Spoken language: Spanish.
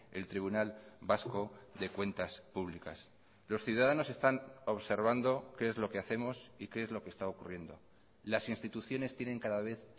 el tribunal vasco de cuentas públicas los ciudadanos están observando qué es lo que hacemos y qué es lo que está ocurriendo las instituciones tienen cada vez